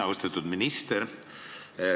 Austatud minister!